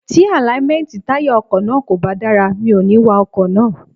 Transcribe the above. Tí àláímẹ́ntì táyà ọkọ̀ náà kò bá dára, mi ò ní wa ọkọ̀ náà.